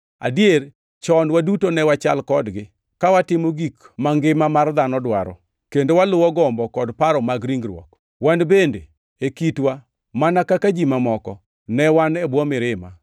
Adier, chon waduto ne wachal kodgi, ka watimo gik mangima mar dhano dwaro, kendo waluwo gombo kod paro mag ringruok. Wan bende, e kitwa, mana kaka ji mamoko, ne wan e bwo mirima.